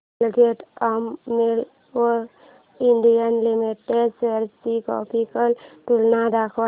Colgate Palmolive India limited shares ची graphical तुलना दाखव